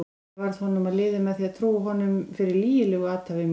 Ég varð honum að liði með því að trúa honum fyrir lygilegu athæfi mínu.